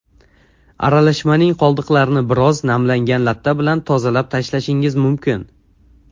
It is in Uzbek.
Aralashmaning qoldiqlarini biroz namlangan latta bilan tozalab tashlashingiz mumkin.